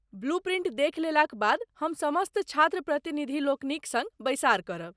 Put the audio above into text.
Blue print देखि लेलाक बाद हम समस्त छात्र प्रतिनिधिलोकनिक सङ्ग बैसार करब।